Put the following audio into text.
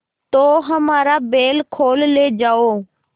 तो हमारा बैल खोल ले जाओ